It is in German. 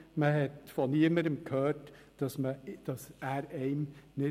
Man hat von niemandem gehört, er passe einem nicht.